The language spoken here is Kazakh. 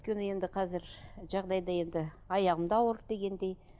өйткені енді қазір жағдайда енді аяғым да ауыр дегендей